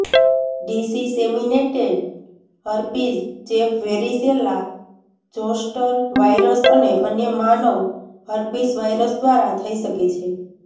disseminated herpes ચેપ varicella zoster virus અને અન્ય માનવ હર્પીસ વાયરસ દ્વારા થઈ શકે છે